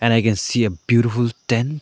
and i can see a beautiful tent.